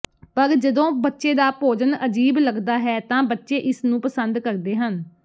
ਪਰ ਜਦੋਂ ਬੱਚੇ ਦਾ ਭੋਜਨ ਅਜੀਬ ਲੱਗਦਾ ਹੈ ਤਾਂ ਬੱਚੇ ਇਸ ਨੂੰ ਪਸੰਦ ਕਰਦੇ ਹਨ